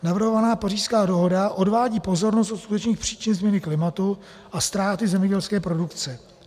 Navrhovaná Pařížská dohoda odvádí pozornost od skutečných příčin změny klimatu a ztráty zemědělské produkce.